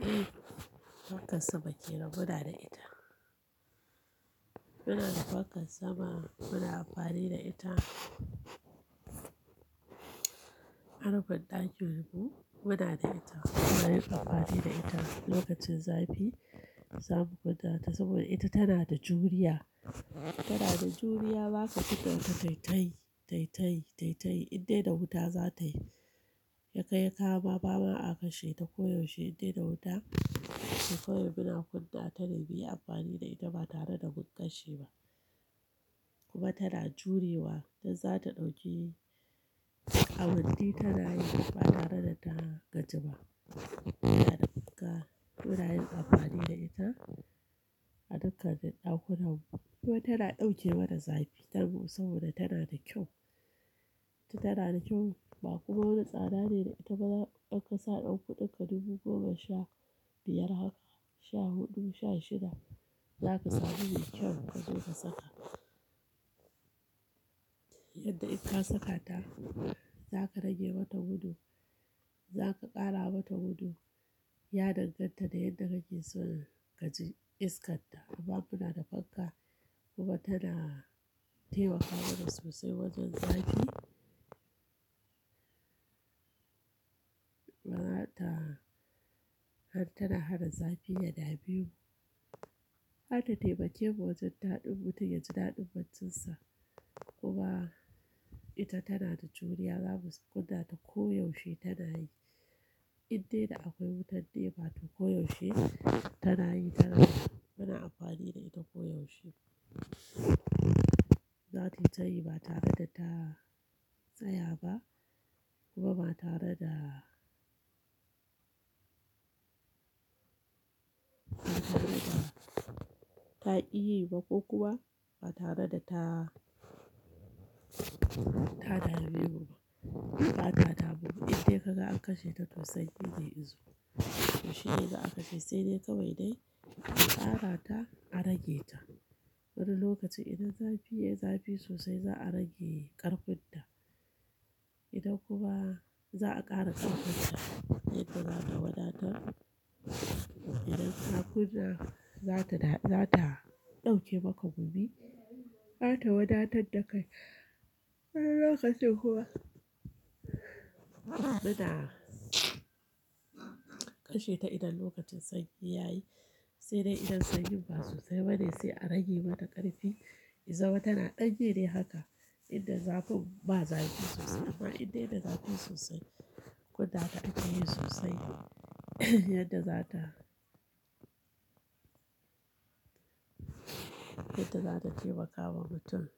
Eh fankar sama ce na gwada da ita. Muna da fankar sama, muna amfani da ita. Arufin ɗakin mu muna da ita, muna yin amfani da ita. Lokacin zafi za mu kunna ta saboda ita tana da juriya, tana da juriya za ka kunna ta taittayi, taittayi, taittayi indai da wuta zatayi. Ya kai ya kawo ma ba ma a kashe ta ko yaushe indai da wuta, to kawai muna kunna ta ne muyi amfani da ita ba tare da mun kashe ba. Kuma tana jurewa, dan zata ɗauki awanni tana yi ba tare da ta gaji ba. Tana da bukka, muna yin amfani da ita a dukkan duk ɗakunan mu kuma tana ɗauke mana zafi daban saboda tana da kyau. Ita tana da kyau ba kuma wani tsada ne da ita. Ba za ka sa ɗan kuɗin ka dubu goma sha biyar haka, sha huɗu, sha shida za ka sami mai kyau ka zo ka saka. Yadda in ka saka ta za ka rage mata gudu, za ka ƙara mata gudu, ya danganta da yadda kake son ka ji iskan ta. Amma muna da fanka kuma tana taimakawa mana sosai wajen zafi. Mata har tana hana zafi yaɗame mu. Harta taimake mu wa wajen ɗaɗin mutum ya ji ɗaɗin baccinsa. Kuma ita tana da juriya, zamu su kunna ta koyaushe tana yi indai da akwai wutan Nepa to koyaushe tana yi, tana. Muna amfani da ita koyaushe. Zata yi tayi ba tare da ta tsaya ba kuma ba tare da, ba tare da ta ki yi ba ko kuma ba tare da ta, ta da memu ba. Ba ta damuwa indai ka ga an kashe ta to sanyi ne izo. To shi ne za a kashe sai dai kawai dai a kara ta, a rage ta. Wani lokacin idan zafi ya yi zafi sosai za a rage ƙarfin ta. Idan kuma za a ƙara ƙarfin ta yadda zata wadatar. Idan ka kunna zata da, zata ɗauke maka gumi, har ta wadatar da kai. Wani lokacin kuma muna kashe ta idan lokacin sanyi ya yi, sai dai idan sanyi ba sosai bane sai a rage mata ƙarfi. Ya zama tana danyi dai haka inda zafin ba zafi sosai amma indai da zafi sosai kunna ta ake yi sosai yadda zata, yadda zata taimaka wa mutum.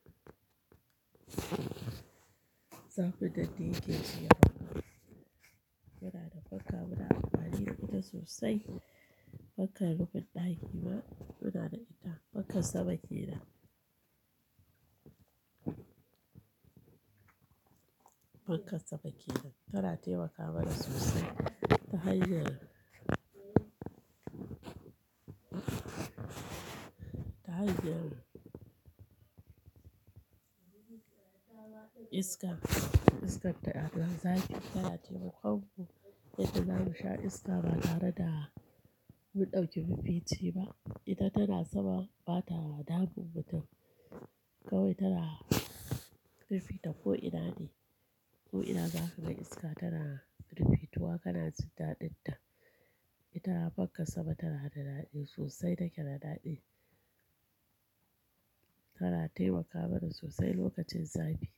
Zafin nan ɗaya ke ji a haka. Muna da fanka muna amfani da ita sosai. Fankan rufin ɗaki ma muna da ita. Fankan sama kenan. Fankan sama kenan tana taimaka mana sosai. Ta hanyar, ta hanyar iska, iskar ta da zafi tana taimakwanmu. Yadda zamu sha iska ba tare da mun ɗauki mafici ba. Ita tana sama bata damun mutum. Kawai tana fifita ko ina ne. Ko ina za ka ga iska tana rufituwa kana jin ɗaɗin ta. Ita fankan sama tana da ɗaɗi sosai, take da ɗaɗi. Tana taimakamana sosai lokacin zafi.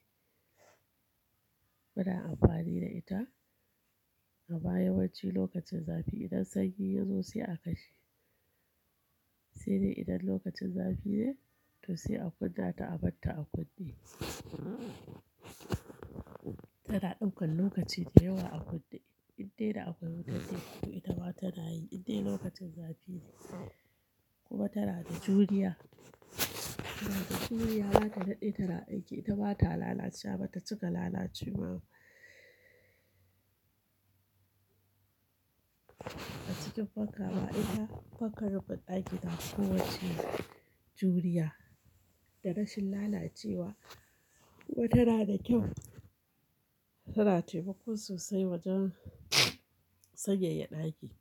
Muna amfani da ita amma yawanci lokacin zafi idan sanyi ya zo sai a kashe. Sai dai idan lokacin zafi ne, to sai a kunna ta a bar ta a kunne. Tana ɗaukan lokaci da yawa a kunne indai da akwai wutan Nepa to ita ma tana yi indai lokacin zafi ne. Kuma tana da juriya, tana da juriya za ta daɗe tana aiki, ita ba ta lalacewa ba, ta cika lalacewa ba. A cikin fanka ma ita fankan rufin ɗaki tafi kowacce juriya da rashin lalacewa kuma tana da kyau. Tana taimako sosai wajen sanyaya ɗaki.